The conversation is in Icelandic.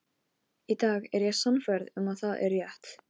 Í dag er ég sannfærð um að það er rétt.